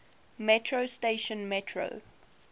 metro station metro